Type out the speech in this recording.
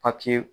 Papiye